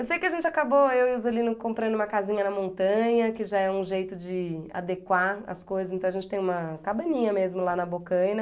Eu sei que a gente acabou, eu e o Zolino, comprando uma casinha na montanha, que já é um jeito de adequar as coisas, então a gente tem uma cabaninha mesmo lá na Bocaina.